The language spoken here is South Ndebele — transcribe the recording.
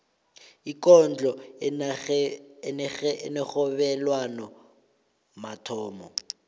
ikondlo enerhobelwano mathomo